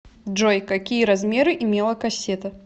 джой какие размеры имела кассета